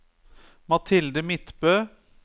Mathilde Midtbø